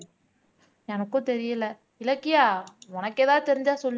எனக்கும் தெரியலே இலக்கியா உனக்கு ஏதாவது தெரிஞ்சா சொல்லு